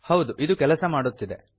ಹೌದು ಇದು ಕೆಲಸ ಮಾಡುತ್ತಿದೆ